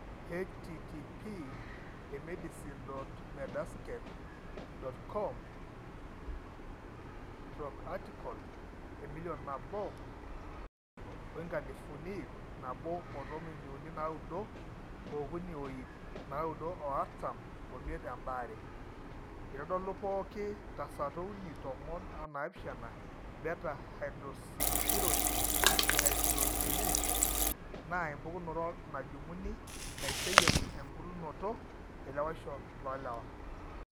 http://emedicine.medscape.com/article/emilion nabo oinkalisuni ip nabo otomoniuni naaudo ookuni oip naaudo oartam omiet embaare#eitodolu pooki tasato uni tomon onaapishana beta hydroxysteroid dehydrogenase naa empukunoto najung'uni naiseyie embulunoto elewaisho oolewa.